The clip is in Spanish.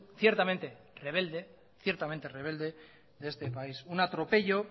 ciertamente rebelde de este país un atropello